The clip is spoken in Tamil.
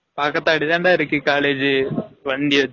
பக்கதாப்டி தான் இருக்கு college வண்டி